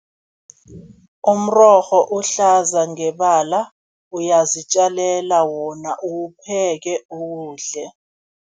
Umrorho uhlaza ngebala, uyazitjalela wona, uwupheke uwudle.